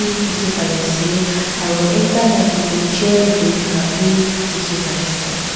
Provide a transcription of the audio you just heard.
dekhey pai ase aro ekta maki toh chair dae buhey thaka bhi dekhey pai ase.